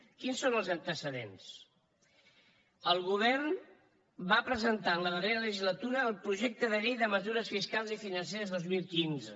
quins són els antecedents el govern va presentar en la darrera legislatura el projecte de llei de mesures fiscals i financeres dos mil quinze